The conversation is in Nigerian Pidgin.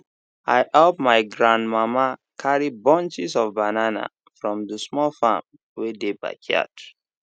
i help my gran mama carry bunches of banana from the small farm wey dey backyard